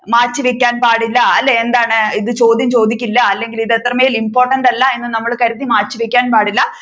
മാറ്റിവെക്കാൻ പാടില്ല എന്താണ് ഇത് ചോദ്യം ചോദിക്കില്ല അല്ലെങ്കിൽ ഇത് അത്രമേൽ important അല്ല എന്ന് കരുതി നമ്മൾ മാറ്റിവെക്കാൻ പാടില്ല